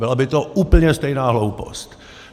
Byla by to úplně stejná hloupost.